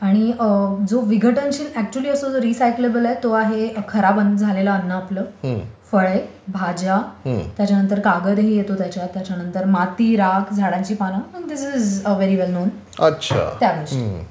आणि जो विघटनशील अच्युअली असतो ज्याला रिसायकलेबल आहे तो आहे खराब झालेलं अन्न आपलं, फळे, भाज्या, त्याच्यानंतर कागद येतो त्याच्यात, नंतर माती, राख, झाडाची पाने, this is very well known त्या गोष्टी